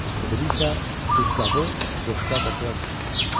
O biri isə duzqabı, boşqab və çörək tutmuşdur.